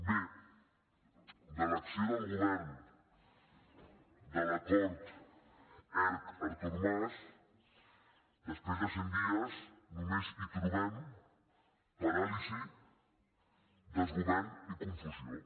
bé a l’acció del govern de l’acord erc artur mas després de cent dies només hi trobem paràlisi desgovern i confusió